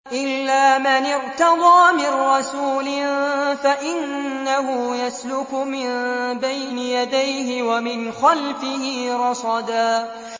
إِلَّا مَنِ ارْتَضَىٰ مِن رَّسُولٍ فَإِنَّهُ يَسْلُكُ مِن بَيْنِ يَدَيْهِ وَمِنْ خَلْفِهِ رَصَدًا